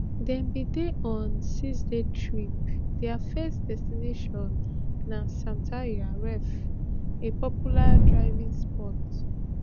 dem bin dey on a sixday trip dia first destination na sataya reef a popular diving spot